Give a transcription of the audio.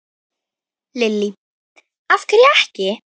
Lillý: Af hverju ekki?